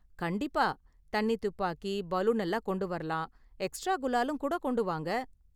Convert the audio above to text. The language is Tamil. கண்டிப்பா, தண்ணி துப்பாக்கி, பலூன் எல்லாம் கொண்டு வரலாம், எக்ஸ்ட்ரா குலாலும் கூட கொண்டு வாங்க.